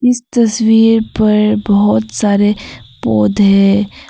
इस तस्वीर पर बहोत सारे पौधे--